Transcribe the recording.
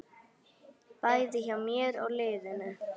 Bæði hjá mér og liðinu.